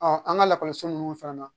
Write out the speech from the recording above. an ka lakɔliso ninnu fana na